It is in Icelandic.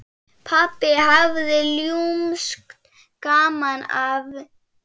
Pabbi hafði lúmskt gaman af.